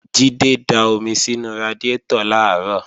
Jídé da omi sínú radiátọ̀ làárọ̀